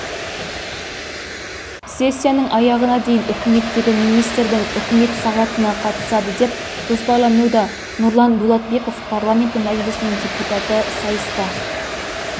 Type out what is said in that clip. сессияның аяғына дейін үкіметтегі министрдің үкімет сағатына қатысады деп жоспарлануда нұрлан дулатбеков парламенті мәжілісінің депутаты сайысқа